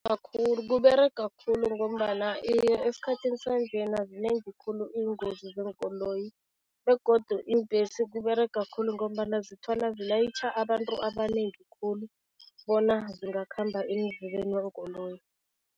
KUberega khulu ngombana esikhathini sanjena zinengi khulu iingozi zeenkoloyi begodu iimbhesi kUberega khulu ngombana zithola zilayitjha abantu abanengi khulu bona zingakhamba eendleleni